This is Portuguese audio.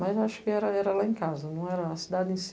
Mas eu acho que era lá em casa, não era a cidade em si.